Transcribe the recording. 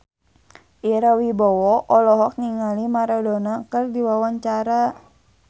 Ira Wibowo olohok ningali Maradona keur diwawancara